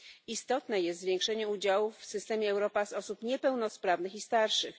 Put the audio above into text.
Istotne jest zwiększenie udziałów w systemie Europass osób niepełnosprawnych i starszych.